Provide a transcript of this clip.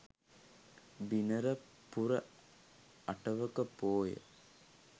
බිනර පුර අටවක පෝය